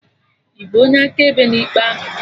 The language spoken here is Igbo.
Ịbụ onye akaebe na ikpe ahụ?